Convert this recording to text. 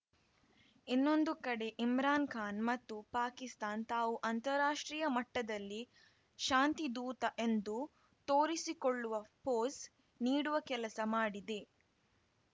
ಇನ್ನೊಂದು ಕಡೆ ಇಮ್ರಾನ್‌ ಖಾನ್‌ ಮತ್ತು ಪಾಕಿಸ್ತಾನ್ ತಾವು ಅಂತಾರಾಷ್ಟ್ರೀಯ ಮಟ್ಟದಲ್ಲಿ ಶಾಂತಿ ಧೂತ ಎಂದು ತೋರಿಸಿಕೊಳ್ಳುವ ಪೋಸ್‌ ನೀಡುವ ಕೆಲಸ ಮಾಡಿದೆ